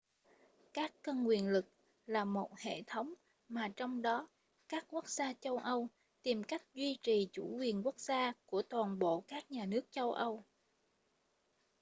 các cân quyền lực là một hệ thống mà trong đó các quốc gia châu âu tìm cách duy trì chủ quyền quốc gia của toàn bộ các nhà nước châu âu